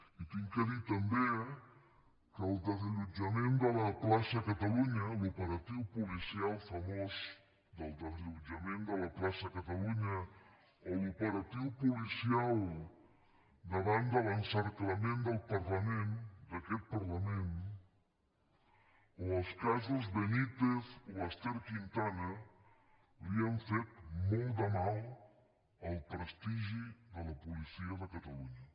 i he de dir també que el desallotjament de la plaça catalunya l’operatiu policial famós del desallotjament de la plaça catalunya o l’operatiu policial davant de l’encerclament del parlament d’aquest parlament o els casos benítez o ester quintana li han fet molt de mal al prestigi de la policia de catalunya